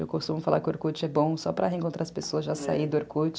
Eu costumo falar que o Orkut é bom só para reencontrar as pessoas, já saí do Orkut.